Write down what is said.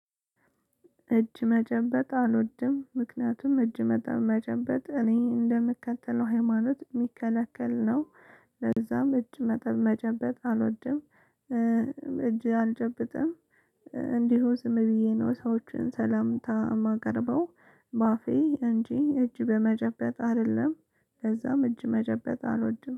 እጅ መጨበጥ አልወድም ምክንያቱም እጅ መጨበጥ እኔ እንደምከተለው ሃይማኖት ሚከለከል ነው ለዛም እጅ መጠብ መጨበጥ አልወድም። እጅ አልጨብጥም። እንዲሁ ዝም ብዬ ነው ሰዎችን ሰላምታ ማቀርበው በአፌ እንጂ እጅ በመጨበጥ አደለም ለዛም እጅ መጨበጥ አልወድም።